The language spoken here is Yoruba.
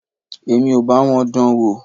Èmi ò bá wọn dán an wò.